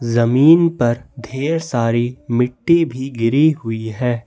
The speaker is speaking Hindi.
जमीन पर ढेर सारी मिट्टी भी गिरी हुई है।